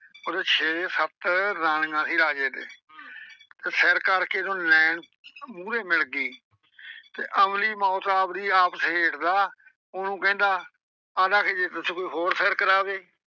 ਉਹਦੇ ਛੇ ਸੱਤ ਰਾਣੀਆਂ ਸੀ ਰਾਜੇ ਦੇ ਤੇ ਸਿਰ ਕਰਕੇ ਜਦੋਂ ਨੈਣ ਮੂਹਰੇ ਮਿਲ ਗਈ ਤੇ ਅਮਲੀ ਮੌਤ ਆਵਦੀ ਆਪ ਸਹੇੜਦਾ। ਉਹਨੂੰ ਕਹਿੰਦਾ ਆਖਦਾ ਜੇ ਤੈਤੋਂ ਕੋਈ ਹੋਰ ਸਿਰ ਕਰਾਵੇ।